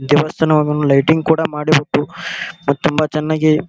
ದೇವಸ್ಥಾನವನ್ನು ಲೈಟಿಂಗ್ ಕೂಡ ಮಾಡಿ ಗೊತ್ತು ತುಂಬಾ ಚನ್ನಾಗಿ .